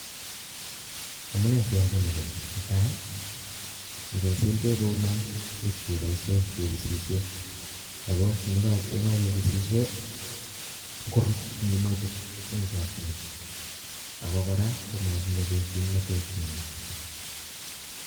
Amune si achame ko ni, ne tai, ko ngesil beek kouno ipkeboishe kepisisie ako ye kakepisisie korut minutik eng chokchinet ako kora komamache kimnotet neo.